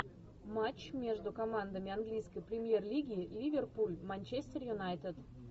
матч между командами английской премьер лиги ливерпуль манчестер юнайтед